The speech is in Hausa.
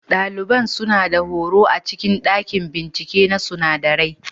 Ɗalibin suna da horo a cikin ɗakin binciken sunadarai.